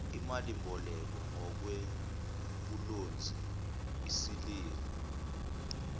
imalimboleko ngokwebhulonzi isiliva